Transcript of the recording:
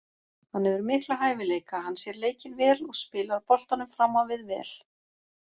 Hann hefur mikla hæfileika, hann sér leikinn vel og spilar boltanum fram á við vel.